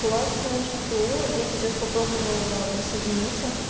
классная что я сейчас попробовала присоединиться